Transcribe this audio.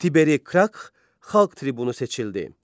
Tiberi Krah xalq tribunu seçildi.